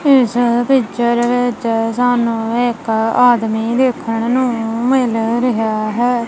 ਇਸ ਪਿਕਚਰ ਵਿੱਚ ਸਾਨੂੰ ਇੱਕ ਆਦਮੀ ਦੇਖਣ ਨੂੰ ਮਿੱਲ ਰਿਹਾ ਹੈ।